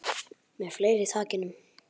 Með fleira í takinu